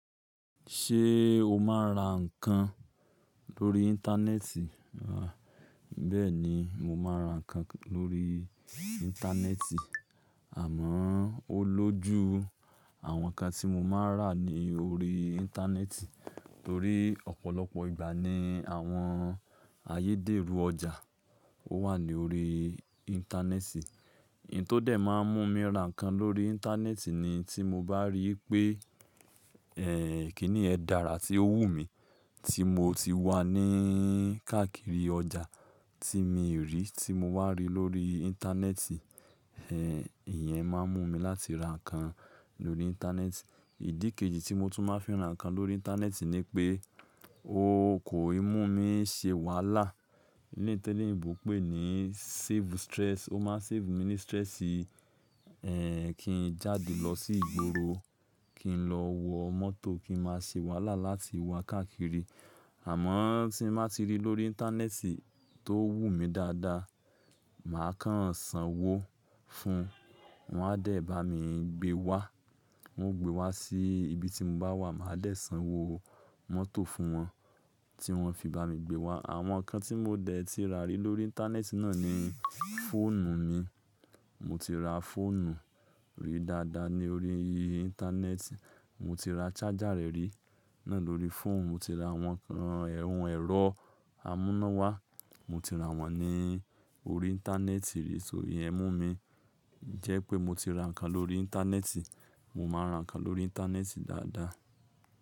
Ṣé o máa ń ra nǹkan lórí Íńtánẹ́ẹ̀tì? À, bẹ́ẹ̀ ni, mo máa ń ra nǹkan lórí Íńtánẹ́ẹ̀tì. Àmọ́, o lójú àwọn nǹkan tí mo máa ń rà ní orí Íńtánẹ́ẹ̀tì torí ọ̀pọ̀lọpọ̀ ìgbà ni àwọn ayédèrú ọjà ó wà ní orí Íńtánẹ́ẹ̀tì. Hin tó dẹ̀ máa ń mú mi ra nǹkan lórí Íńtánẹ́ẹ̀tì ni tí mo bá ríi pé, ẹ́ẹ̀, kí ni yẹ́n dára tí ó wù mí tí mo ti wà ní káàkiri ọjà tí mi rí tí mo wà rí lórí Íńtánẹ́ẹ̀tì. Ẹ̀ẹ̀, ìyẹn máa ń mú mi láti ra nǹkan lórí Íńtánẹ́ẹ̀tì. Ìdí kejì tí mo tún máa ń fi ra nǹkan lórí Íńtánẹ́ẹ̀tì ni pé ó kò i mú mi ṣe wàhálà. Ní teleyinbo pé ní save stress, ó máa ń save mi ní stressi. Ẹ̀ẹ̀, kí n jáde lọ sí ìgboro, kí n lọ wọ mọ́tò, kí n máa ṣe wàhálà láti wá káàkiri. Àmọ́ tí mo bá ti rí lórí Íńtánẹ́ẹ̀tì tó wù mí dáadáa, màá kan ǹsán wó fún un, wọn á dẹ̀ bá mi gbé wá. Wọn ó gbé wá sí ibi tí mo bá wà, màá dẹ̀ sanwó mọ́tò fún wọn tí wọn fi bá mi gbé wá. Àwọn nǹkan tí mo dẹ̀ ti rà rí lórí Íńtánẹ́ẹ̀tì náà ni fóònù mi. Mo ti ra fóònù rí dáadáa ní orí Íńtánẹ́ẹ̀tì. Mo ti ra charger rẹ̀ rí náà lórí fóònù. Mo ti ra àwọn ẹ̀rọ amúnáwá, mo ti ra wọ́n ní orí Íńtánẹ́ẹ̀tì rí. Só iyen ẹ́ mú mi jẹ́ pé mo ti ra nǹkan lórí Íńtánẹ́ẹ̀tì. Mo máa ń ra nǹkan lórí Íńtánẹ́ẹ̀tì dáadáa.